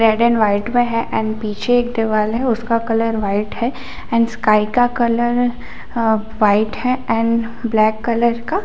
red and white में है and पीछे एक दीवाल है और उसका कलर वाइट है एंड स्काई का कलर वाइट है एंड ब्लैक कलर का--